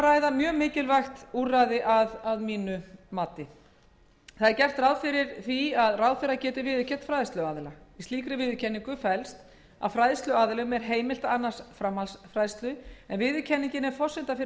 ræða mjög mikilvægt úrræði að mínu mati gert er ráð fyrir því að ráðherra geti viðurkennt fræðsluaðila í slíkri viðurkenningu felst að fræðsluaðilum er heimilt að annast framhaldsfræðslu en viðurkenningin er forsenda fyrir